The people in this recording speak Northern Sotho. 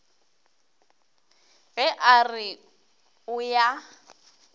ge a re o ya